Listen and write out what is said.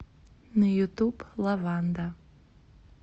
на ютуб лаванда